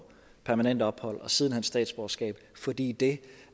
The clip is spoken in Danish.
permanent ophold og siden hen statsborgerskab fordi det